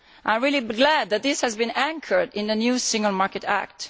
I am really glad that this has been anchored in the new Single Market Act.